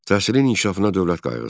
Təhsilin inkişafına dövlət qayğısı.